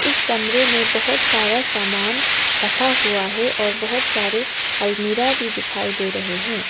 इस कमरे में बहोत सारा सामान रखा हुआ है और बहोत सारे अलमीरा भी दिखाई दे रहे हैं।